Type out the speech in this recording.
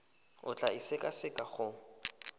o tla e sekaseka go